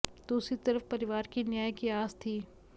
दूसरी तरफ परिवार की न्याय की आस थी